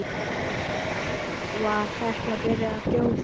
Var Hekla byrjuð að gjósa?